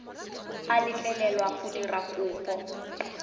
a letlelelwa go dira kopo